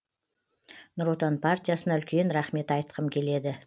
нұр отан партиясына үлкен рахмет айтқым келеді